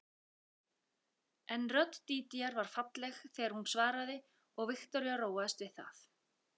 En rödd Dídíar var falleg þegar hún svaraði og Viktoría róaðist við það